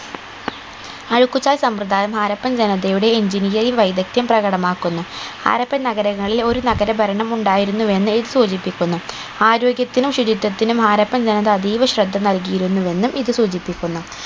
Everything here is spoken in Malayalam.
അഴുക്കുചാൽ സമ്പ്രദായം ഹാരപ്പൻ ജനതയുടെ engineering വൈവിധ്യം പ്രകടമാക്കുന്നു ഹാരപ്പൻ നഗരങ്ങളിൽ ഒരു നഗര ഭരണം ഉണ്ടായിരുന്നു എന്ന് ഇത് സൂചിപ്പിക്കുന്നു ആരോഗ്യത്തിനും ശുചിത്യത്തിനും ഹാരപ്പൻ ജനത അതീവ ശ്രദ്ധ നൽകിയിരുന്നു എന്നും ഇത് സൂചിപ്പിക്കുന്നു